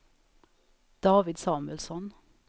David Samuelsson